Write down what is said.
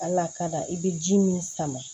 Al'a ka da i bɛ ji min sama